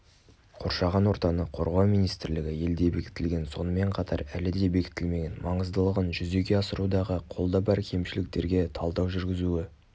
қоршаған ортаны қорғау министрлігі елде бекітілген сонымен қатар әлі де бекітілмеген маңыздылығын жүзеге асырудағы қолда бар кемшіліктерге талдау жүргізуі